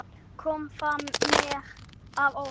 Kom það mér að óvart?